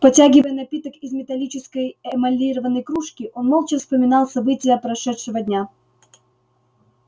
потягивая напиток из металлической эмалированной кружки он молча вспоминал события прошедшего дня